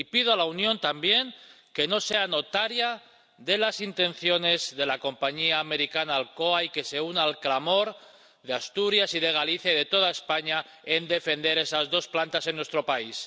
Y pido a la Unión también que no sea notaria de las intenciones de la compañía americana Alcoa y que se una al clamor de Asturias y de Galicia y de toda España para defender esas dos plantas en nuestro país.